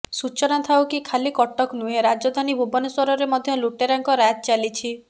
ସୂଚନାଥାଉ କି ଖାଲି କଟକ ନୁହେଁ ରାଜଧାନୀ ଭୁବନେଶ୍ୱରରେ ମଧ୍ୟ ଲୁଟେରାଙ୍କ ରାଜ୍ ଚାଲିଛି